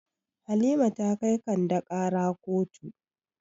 Halima ta kai Kande ƙara kotu.